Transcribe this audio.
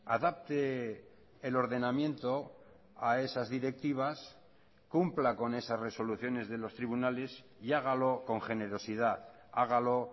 adapte el ordenamiento a esas directivas cumpla con esas resoluciones de los tribunales y hágalo con generosidad hágalo